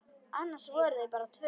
Annars voru þau bara tvö.